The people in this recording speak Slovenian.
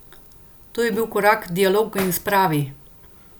To je bil korak k dialogu in spravi!